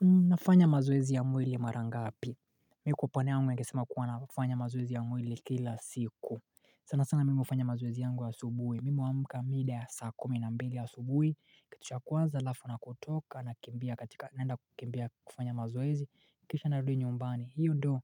Nafanya mazoezi ya mwili mara ngapi? Mikuwa panayangu yangesema kuwana kufanya mazoezi ya mwili kila siku. Sana sana mimi hufanya mazoezi yangu ya subuhi mimi huamka mida ya saa kumi na mbili ya asubuhi kitu cha kwanza halafuu na kutoka na kimbia katika naenda kukimbia kufanya mazoezi nikisha nadudu nyumbani hiyo do